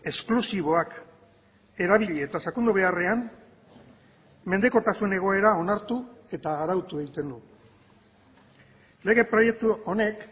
esklusiboak erabili eta sakondu beharrean menpekotasun egoera onartu eta arautu egiten du lege proiektu honek